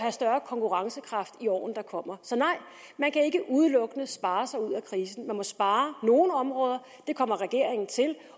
større konkurrencekraft i årene der kommer man kan ikke udelukkende spare sig ud af krisen man må spare på nogle områder det kommer regeringen til